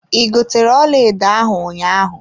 I gotere ọlaedo ahụ ụnyaahụ.